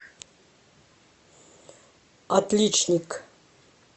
отличник